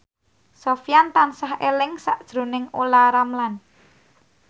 Sofyan tansah eling sakjroning Olla Ramlan